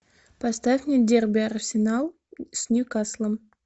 поставь мне дерби арсенал с ньюкаслом